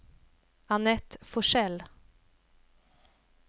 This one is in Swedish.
Anette Forsell